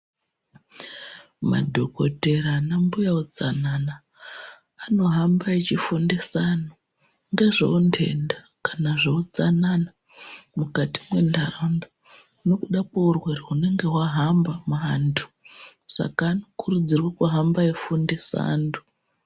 Madhokotera anambuya utsanana anohamba echifundisa anhu ndizvowo ndenda kana zveutsanana mukati menharaunda nokuda kwe urerwere unenge wahamba mu antu saka anokurudzirwa kuhamba eifundisa antu.